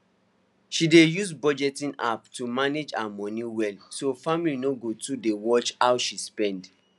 she dey use budgeting app to manage her money well so family no go too dey watch how she spend